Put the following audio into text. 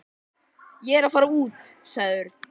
Ég er að fara út sagði Örn.